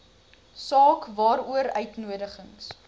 saak waaroor uitnodigings